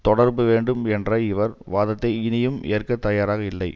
தொடரப்பட வேண்டும் என்ற இவர் வாதத்தை இனியும் ஏற்க தயாராக இல்லை